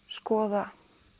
skoða